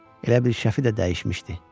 Elə bil Şəfi də dəyişmişdi.